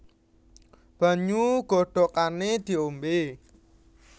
Banyu godhogané diombé